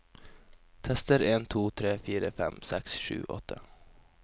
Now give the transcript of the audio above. Tester en to tre fire fem seks sju åtte